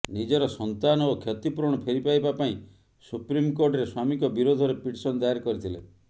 ନିଜର ସନ୍ତାନ ଓ କ୍ଷତିପୂରଣ ଫେରି ପାଇବା ପାଇଁ ସୁପ୍ରିମକୋର୍ଟରେ ସ୍ୱାମୀଙ୍କ ବିରୋଧରେ ପିଟିସନ ଦାୟର କରିଥିଲେ